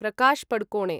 Prakash Padukone